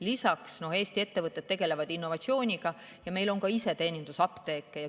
Lisaks tegelevad Eesti ettevõtted innovatsiooniga ja meil on ka iseteenindusapteeke.